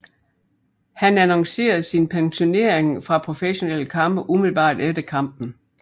Han annoncerede sin pensionering fra professionelle kampe umiddelbart efter kampen